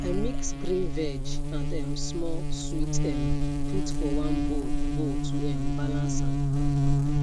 i mix grain veg and um small sweet um put for one bowl bowl to um balance am